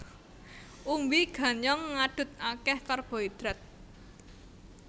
Umbi ganyong ngadhut akéh karbohidrat